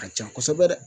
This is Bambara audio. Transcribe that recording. A ka ca kosɛbɛ dɛ